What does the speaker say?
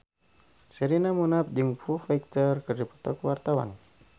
Sherina Munaf jeung Foo Fighter keur dipoto ku wartawan